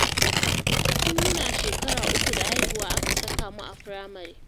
Tun muna shekara uku da haihuwa aka saka mu a firamare